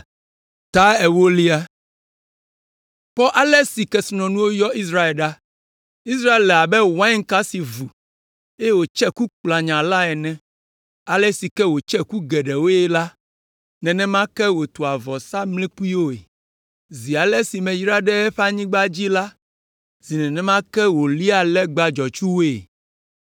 Kpɔ ale si kesinɔnuwo yɔ Israel ɖa! Israel le abe wainka si vu, eye wòtse ku kplanya la ene. Ale si ke wòtse ku geɖewoe la, nenema ke wòtua vɔsamlekpuiwoe. Zi ale si meyra ɖe eƒe anyigba dzi la, zi nenema ke wòliaa legba dzɔtsuwoe.